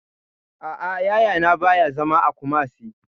A'a, Yaya na ba ya zama a Kumasi